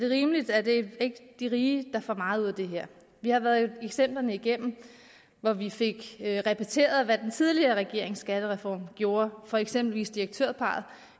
rimeligt er det ikke de rige der får meget ud af det her vi har været eksempler igennem hvor vi fik repeteret hvad den tidligere regerings skattereform gjorde for eksempelvis direktørparret